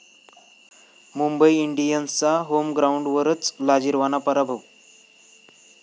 मुंबई इंडियन्सचा होमग्राऊंडवरच लाजिरवाणा पराभव